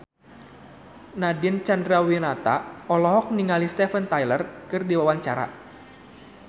Nadine Chandrawinata olohok ningali Steven Tyler keur diwawancara